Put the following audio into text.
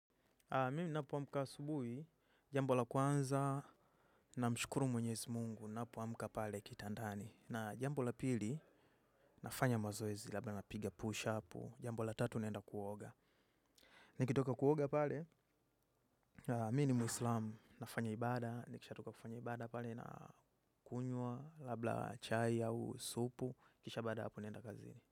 Mimi napo wamuka asubuhi, jambo la kwanza, namshukuru mwenyezi mungu, napowamuka pale kitandani. Na jambo la pili, nafanya mazoezi, labda napiga pusha apu, jambo la tatu naenda kuoga. Nikitoka kuoga pale, mimi ni muslamu, nafanya ibada, nikisha toka kufanya ibada pale, na kunyua, labda chai au supu, kisha bada apo nenda kazini.